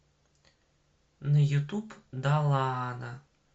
на ютуб далаана